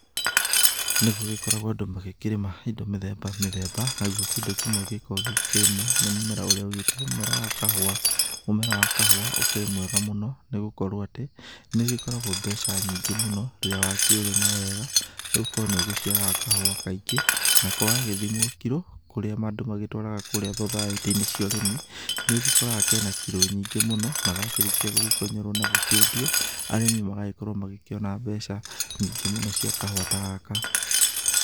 Nĩ gũgĩkoragwo andũ magĩkĩrĩma indo mĩthemba mĩthemba, naguo kĩndũ kĩmwe gĩkoragwo gĩgĩkĩrĩmwo nĩ mũmera ũrĩa ũgĩtagwo mũmera wa kahũa, mũmera wa kahũa ũkĩrĩ mwega mũno nĩ gũkorwo atĩ, nĩ ũgĩkoragwo mbeca nyingĩ mũno rĩrĩa wakĩũrĩma wega, nĩ gũkorwo nĩ ũciaraga kahũa kaingĩ, nako gagĩthimwo kiro kũrĩa andũ magĩtwaraga kũrĩa thothaitĩ-inĩ cia ũrĩmi, nĩ ũgĩkoraga kena kiro nyingĩ mũno, na gakĩrĩkia gũgĩkonyorwo na gũkĩendio, arĩmi magagĩkorwo magĩkĩona mbeca nyingĩ mũno cia kahũa ta gaka.